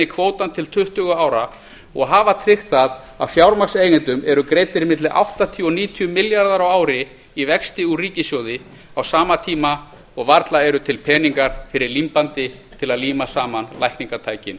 kvótann til tuttugu ára og hafa tryggt það að fjármagnseigendum eru greiddir milli áttatíu og níutíu milljarðar á ári í vexti úr ríkissjóði á sama tíma og varla eru til hennar fyrir límbandi til að líma saman lækningatækin